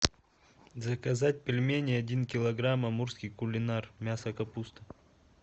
заказать пельмени один килограмм амурский кулинар мясо капуста